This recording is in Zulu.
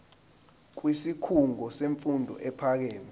kwisikhungo semfundo ephakeme